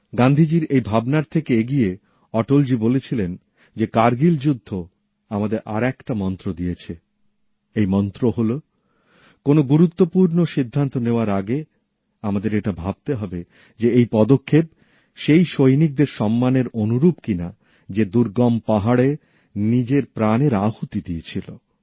গান্ধীজির এই ভাবনার থেকে এগিয়ে অটলজি বলেছিলেন যে কার্গিল যুদ্ধ আমাদের আর একটা মন্ত্র দিয়েছে এই মন্ত্র হল কোনও গুরুত্বপূর্ণ সিদ্ধান্ত নেওয়ার আগে আমাদের এটা ভাবতে হবে যে এই পদক্ষেপ সেই সৈনিকের সম্মানের যোগ্য কিনা যে দুর্গম পাহাড়ে নিজের প্রাণের আহুতি দিয়েছিল